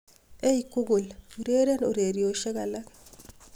ei google ureren ureryosiek alak